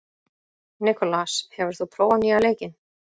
Nikolas, hefur þú prófað nýja leikinn?